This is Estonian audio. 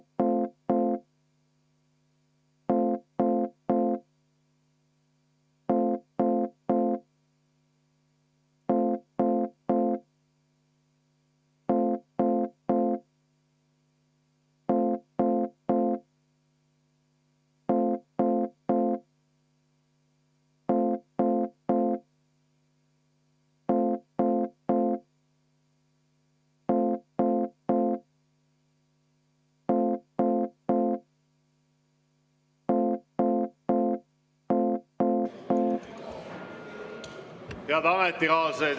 Head ametikaaslased!